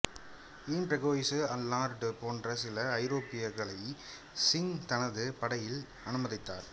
ஈன் François Allard போன்ற சில ஐரோப்பியர்களையும் சிங் தனது படையில் அனுமதித்தார்